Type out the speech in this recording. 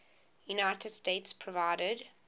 united states provided